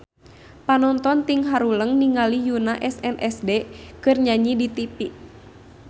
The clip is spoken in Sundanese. Panonton ting haruleng ningali Yoona SNSD keur nyanyi di tipi